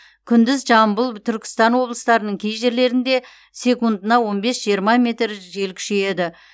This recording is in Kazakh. күндіз жамбыл түркістан облыстарының кей жерлерінде секундына он бес жиырма метр жел күшейеді